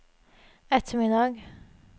ettermiddag